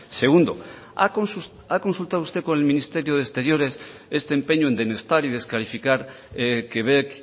segundo ha consultado usted con el ministerio de exteriores este empeño en denostar y descalificar quebec